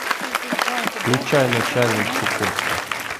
включай начальник чукотки